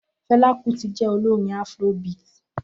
Fela Kuti je olorin Afrobeat.